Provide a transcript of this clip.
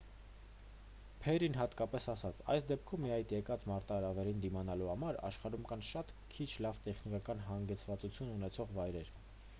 փերրին հատկապես ասաց․«այս դեպքում ի հայտ եկած մարտահրավերին դիմակայելու համար աշխարհում կան շատ քիչ լավ տեխնիկական հագեցվածություն ունեցող վայրեր»։